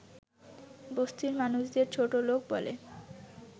বস্তির মানুষদের ছোটলোক বলে